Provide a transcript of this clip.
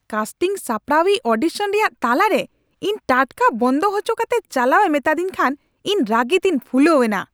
ᱠᱟᱥᱴᱤᱱ ᱥᱟᱯᱲᱟᱣᱤᱡ ᱚᱰᱤᱥᱚᱱ ᱨᱮᱭᱟᱜ ᱛᱟᱞᱟ ᱨᱮ ᱤᱧ ᱴᱟᱴᱠᱟ ᱵᱚᱱᱫᱚ ᱦᱚᱪᱚ ᱠᱟᱛᱮ ᱪᱟᱞᱟᱣᱮ ᱢᱮᱛᱟᱫᱤᱧ ᱠᱷᱟᱱ ᱤᱧ ᱨᱟᱹᱜᱤᱛᱮᱧ ᱯᱷᱩᱞᱟᱹᱣᱮᱱᱟ ᱾